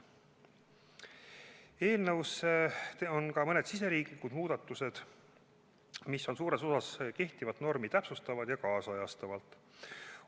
Eelnõus on ka mõned riigisisesed muudatused, mis on suures osas kehtivat normi täpsustavad ja nüüdisajastavad.